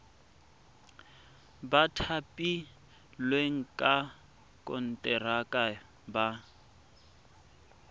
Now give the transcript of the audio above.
ba thapilweng ka konteraka ba